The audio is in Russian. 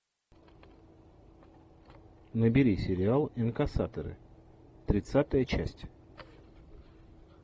набери сериал инкассаторы тридцатая часть